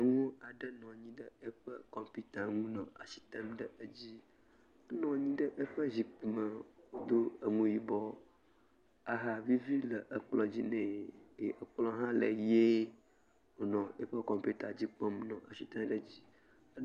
Nyɔŋu aɖe nɔ anyi ɖe eƒe kɔmputa ŋu nɔ asi tem ɖe edzi. Enɔ anyi ɖe eƒe zikpui me do eŋu yibɔ. Ahavivi le ekplɔ̃ dzi nɛ eye ekplɔ̃ hã le ɣie wònɔ eƒe kɔmputa dzi kpɔm nɔ asi tem ɖe dzi.